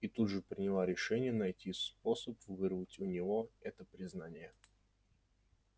и тут же приняла решение найти способ вырвать у него это признание